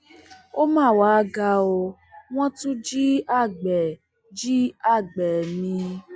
ó mà wàá ga ọ wọn tún jí àgbẹ jí àgbẹ mi